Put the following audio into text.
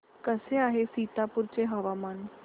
कसे आहे सीतापुर चे हवामान